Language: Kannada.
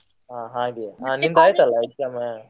ಹಾ ಹಾಗೆ ಆಯ್ತ್ ಅಲ್ಲ exam ?